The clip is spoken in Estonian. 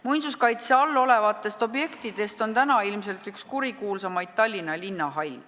Muinsuskaitse all olevatest objektidest on täna ilmselt üks kurikuulsamaid Tallinna linnahall.